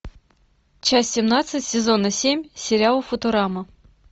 часть семнадцать сезона семь сериал футурама